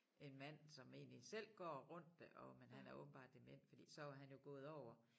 En mand som egentlig selv går rundt og men han er åbenbart dement fordi så var han jo gået over